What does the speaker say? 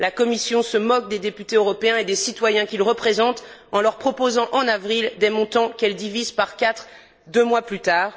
La Commission se moque des députés européens et des citoyens qu'ils représentent en leur proposant en avril des montants qu'elle divise par quatre deux mois plus tard.